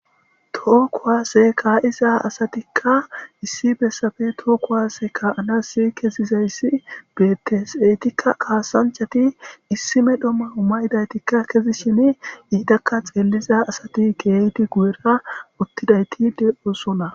too kuwaase kaa7iza asatikka issi bessafe tookkuwase ka7anasi kezizayssi betteseytikka kaasanchati issime dhomma uma7idaytikka kezishin iidakka xeelliza asati geeyti gu7era uttidayti de7osona